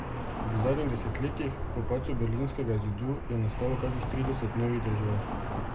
V zadnjih desetletjih, po padcu berlinskega zidu, je nastalo kakih trideset novih držav.